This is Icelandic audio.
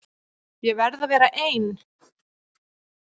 Ég verð að vera ein.